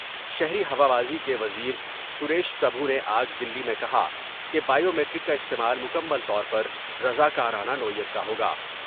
شہری ہوابازی کے وزیر سریش پر بھو نے آج دلی میں کہا کہ بائیومیٹرک کا استعمال مکمل طور پر رضا کارانہ نوعیت کا ہوگا ۔